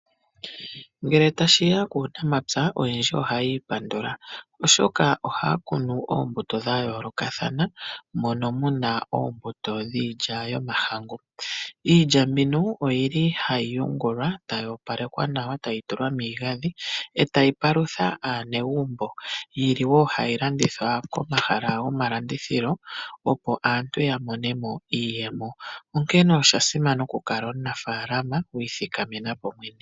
Ngele tashiya kuunamapya oyendji ohaya ipandula , oshoka ohaya kunu oombuto dhayoolokathana mono muna oombuto dhiilya yomahangu . Iilya mbino oyili hayi yingulwa etayi opalekwa nawa , etayi tulwa miigandhi, etayi palutha aanegumbo. Oyi li wo hayi landithwa komahala gomalandithilo, opo aantu yamonemo iiyemo, onkene oshasimana okukala omunafaalama wiithikamenapo ngoye mwene.